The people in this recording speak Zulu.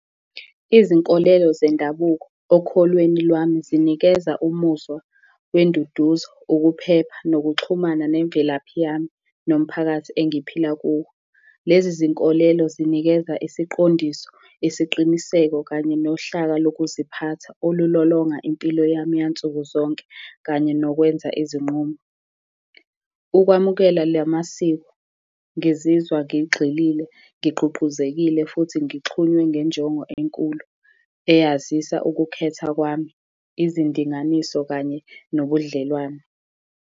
Izinkolelo zendabuko okholweni lwami, zinikeza umuzwa wenduduzo, ukuphepha nokuxhumana nemvelaphi yami nomphakathi engiphila kuwo. Lezi zinkolelo, zinikeza isiqondiso, isiqiniseko, kanye nohlaka wokuziphatha olulolonga impilo yami yansuku zonke, kanye nokwenza izinqumo. Ukwamukela lamasiko, ngizizwa ngigxilile ngigqugquzekile futhi ngixhunywe ngenjongo enkulu, eyazisa ukukhetha kwami, izindinganiso kanye nobudlelwano.